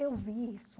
Eu vi isso.